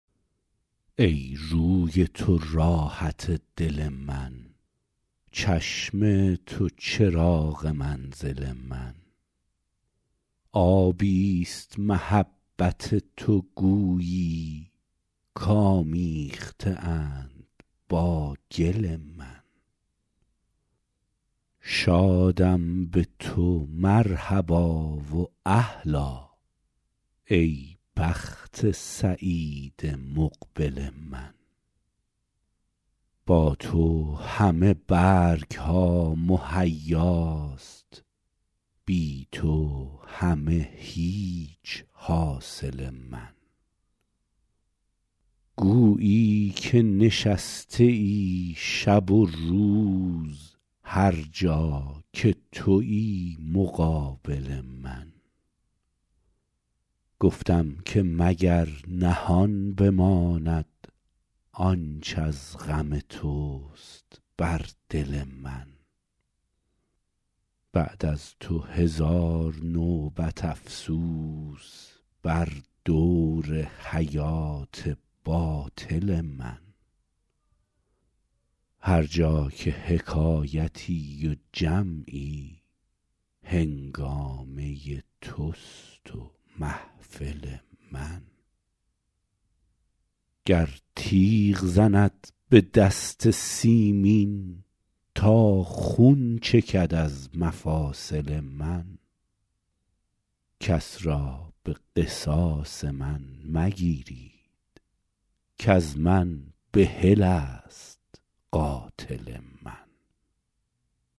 ای روی تو راحت دل من چشم تو چراغ منزل من آبی ست محبت تو گویی کآمیخته اند با گل من شادم به تو مرحبا و اهلا ای بخت سعید مقبل من با تو همه برگ ها مهیاست بی تو همه هیچ حاصل من گویی که نشسته ای شب و روز هر جا که تویی مقابل من گفتم که مگر نهان بماند آنچ از غم توست بر دل من بعد از تو هزار نوبت افسوس بر دور حیات باطل من هر جا که حکایتی و جمعی هنگامه توست و محفل من گر تیغ زند به دست سیمین تا خون چکد از مفاصل من کس را به قصاص من مگیرید کز من بحل است قاتل من